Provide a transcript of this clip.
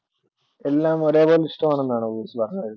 എല്ലാം ഒരേ പോലെ ഇഷ്ടമാണെന്നാണോ മനസ്സിലാക്കേണ്ടത്?